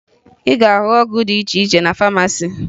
Ị ga-ahụ ọgwụ dị iche iche na famasi